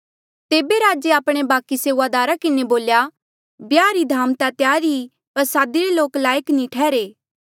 तेबे राजे आपणे बाकि सेऊआदार किन्हें बोल्या ब्याहा रा धामा ता त्यार आ पर सादिरे रे लोक लायक नी ठैहरे